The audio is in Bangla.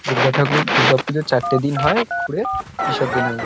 দুর্গা ঠাকুর দুর্গা পুজোর চারটে দিন হয় ঘুরে বিসর্জন হয়ে যা --